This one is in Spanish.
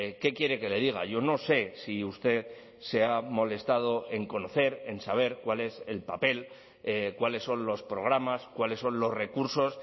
qué quiere que le diga yo no sé si usted se ha molestado en conocer en saber cuál es el papel cuáles son los programas cuáles son los recursos